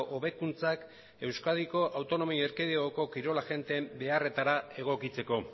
hobekuntzak euskadiko autonomia erkidegoko kirol agenteen beharretara egokitzeko